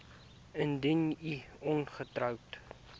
indien u ongetroud